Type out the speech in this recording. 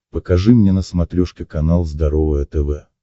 покажи мне на смотрешке канал здоровое тв